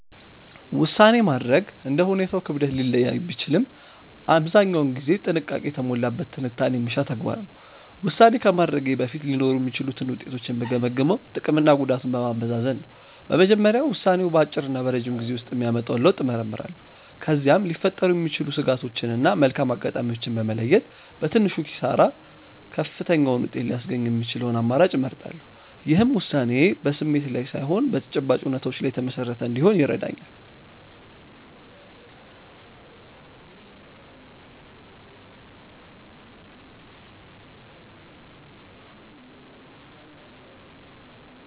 ውሳኔ ማድረግ እንደ ሁኔታው ክብደት ሊለያይ ቢችልም አብዛኛውን ጊዜ ጥንቃቄ የተሞላበት ትንታኔ የሚሻ ተግባር ነው። ውሳኔ ከማድረጌ በፊት ሊኖሩ የሚችሉትን ውጤቶች የምገመግመው ጥቅምና ጉዳቱን በማመዛዘን ነው። በመጀመሪያ ውሳኔው በአጭርና በረጅም ጊዜ ውስጥ የሚያመጣውን ለውጥ እመረምራለሁ። ከዚያም ሊፈጠሩ የሚችሉ ስጋቶችን እና መልካም አጋጣሚዎችን በመለየት፣ በትንሹ ኪሳራ ከፍተኛውን ውጤት ሊያስገኝ የሚችለውን አማራጭ እመርጣለሁ። ይህም ውሳኔዬ በስሜት ላይ ሳይሆን በተጨባጭ እውነታዎች ላይ የተመሰረተ እንዲሆን ይረዳኛል።